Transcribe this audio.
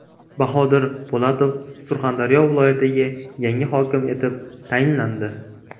Bahodir Po‘latov Surxondaryo viloyatiga yangi hokim etib tayinlandi.